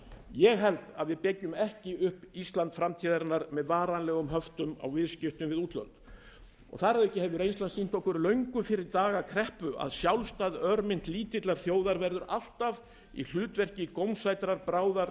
ég held að við byggjum ekki upp ísland framtíðarinnar með varanlegum höftum á viðskiptum við útlönd þar að auki hefur reynslan sýnt löngu fyrir kreppu að sjálfstæð örmynt lítillar þjóðar verður alltaf í hlutverki gómsætrar bráðar